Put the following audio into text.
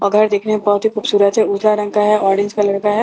और घर देखने में बहुत ही खूबसूरत है ऊथिया रंग का है ऑरेंज कलर का है और छज्जा--